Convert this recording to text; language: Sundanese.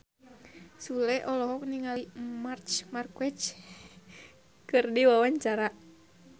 Sule olohok ningali Marc Marquez keur diwawancara